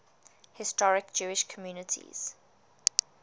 historic jewish communities